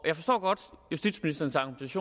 jeg forstår godt justitsministerens